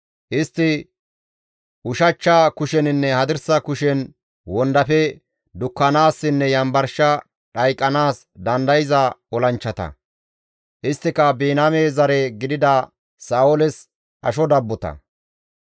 Istti ushachcha kusheninne hadirsa kushen wondafe dukkanaassinne yanbarshe dhayqanaas dandayza olanchchata; isttika Biniyaame zare gidida Sa7ooles asho dabbota.